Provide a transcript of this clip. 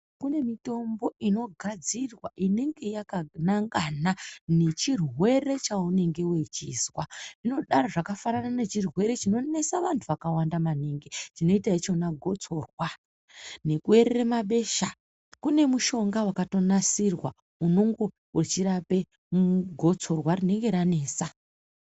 Kune mitombo inogadzirwa inenge yakanangana nechirwere chaunenge wechizwa. Inodaro zvakafanana nechirwere chinonesa vantu vakawanda maningi, chinoita ichona gotsorwa nekuerere mabesha. Kune mushonga wakatonasirwa unenge uchirape gotsorwa rinenge ranetsa.